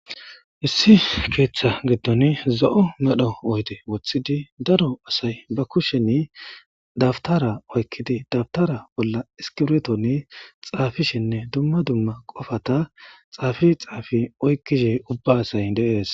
Issi keeththa giddon zo'o medho oyde woththidi daro asay ba kusheni dabtara oykkidi dabtara bolla iskiretoni xaafishenne dumma dumma qofata xaafi xaafi oykkishe ubba asay deees.